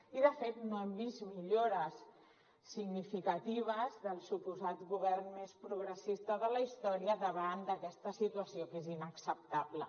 i de fet no hem vist millores significatives del suposat govern més progressista de la història davant d’aquesta situació que és inacceptable